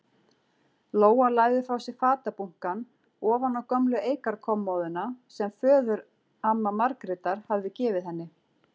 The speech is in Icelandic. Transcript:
Lóa lagði frá sér fatabunkann ofan á gömlu eikarkommóðuna sem föðuramma Margrétar hafði gefið henni.